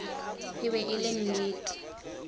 e be e le nnete